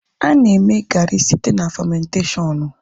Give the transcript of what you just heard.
A na-eme gaari site na famentashọnụ